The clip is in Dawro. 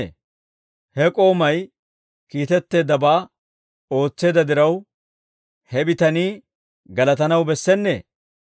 He k'oomay kiitetteeddabaa ootseedda diraw, he bitanii galatanaw bessennee?